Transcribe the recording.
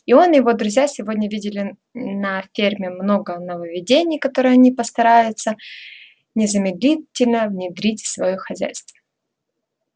и он и его друзья сегодня видели на ферме много нововведений которые они постараются незамедлительно внедрить в своё хозяйство